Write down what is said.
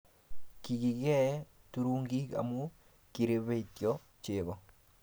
kikiee turungik amu kirebetio chego